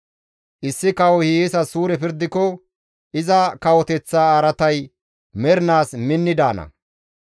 Issi kawoy hiyeesas suure pirdiko iza kawoteththa araatay mernaas minni daana.